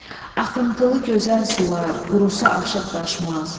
Axıntılı gözəl sular qurusa aşıb daşmaz.